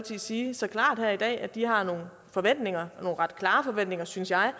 sige så klart her i dag at de har nogle forventninger og nogle ret klare forventninger synes jeg